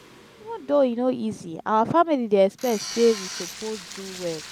even though e no easy our family dey expect sey we suppose do well.